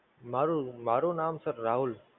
મારુ, મારુ નામ Sir રાહુલ